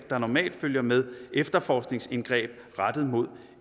der normalt følger med efterforskningsindgreb rettet mod